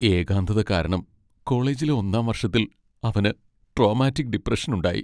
ഏകാന്തത കാരണം കോളേജിലെ ഒന്നാം വർഷത്തിൽ അവന് ട്രോമാറ്റിക് ഡിപ്രഷൻ ഉണ്ടായി.